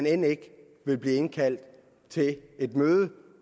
end ikke blev indkaldt til et møde